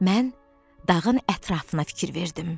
Mən dağın ətrafına fikir verdim.